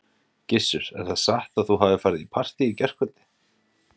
Gissur: Er það satt að þú hafir farið í partý í gærkvöld?